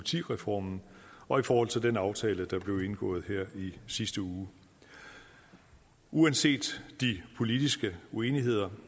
ti reformen og i forhold til den aftale der blev indgået her i sidste uge uanset de politiske uenigheder